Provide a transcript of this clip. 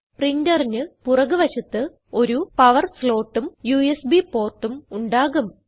പ്രിന്ററിന് പുറക് വശത്ത് ഒരു പവർ slotഉം യുഎസ്ബി portഉം ഉണ്ടാകും